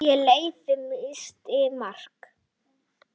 Og lyfið missti marks.